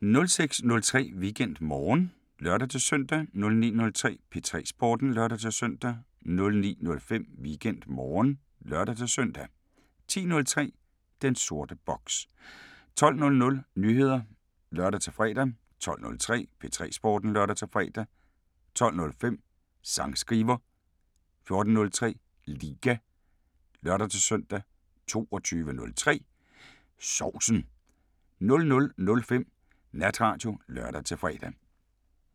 06:03: WeekendMorgen (lør-søn) 09:03: P3 Sporten (lør-søn) 09:05: WeekendMorgen (lør-søn) 10:03: Den sorte boks 12:00: Nyheder (lør-fre) 12:03: P3 Sporten (lør-fre) 12:05: Sangskriver 14:03: Liga (lør-søn) 22:03: Sovsen 00:05: Natradio (lør-fre)